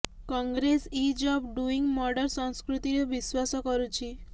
Congress is of doing murder ସଂସ୍କୃତିରେ ବିଶ୍ୱାସ କରୁଛି